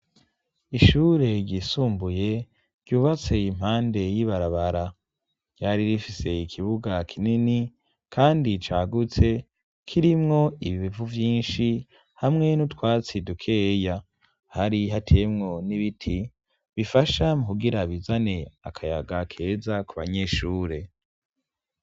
ishure ryisumbuye ryubatse impande y'ibarabara ryari rifise ikibuga kinini kandi cagutse kirimwo ibivu vyinshi hamwe n'utwatsi dukeya hari hateyemwo n'ibiti bifasha mukugira bizane akayaga keza kubanyeshure